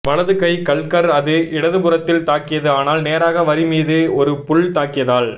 வலது கை கல்கர் அது இடதுபுறத்தில் தாக்கியது ஆனால் நேராக வரி மீது ஒரு புல் தாக்கியதால்